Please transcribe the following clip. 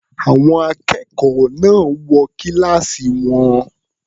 Àwọn akẹ́kọ̀ọ́ náà wọ kíláàsì wọn.